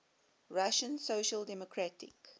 russian social democratic